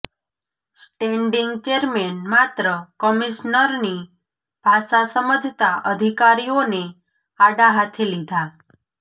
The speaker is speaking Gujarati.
સ્ટેન્ડીંંગ ચેરમેન માત્ર કમીશ્નરની ભાષા સમજતા અધિકારીઓને આડા હાથે લીધા